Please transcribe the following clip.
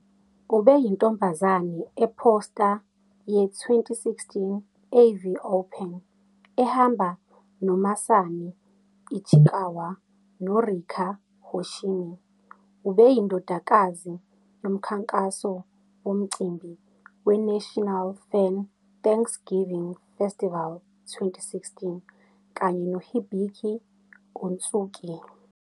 Ubeyintombazane e-poster ye-2016 AV Open ehamba noMasami Ichikawa noRika Hoshimi. Ubeyindodakazi yomkhankaso womcimbi weNational Fan Thanksgiving Festival 2016 kanye noHibiki Ōtsuki.